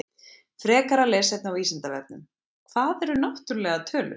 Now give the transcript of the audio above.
Frekara lesefni á Vísindavefnum: Hvað eru náttúrlegar tölur?